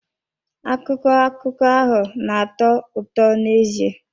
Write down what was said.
Akụkọ akụkọ ahụ na-atọ ụtọ n'ezie.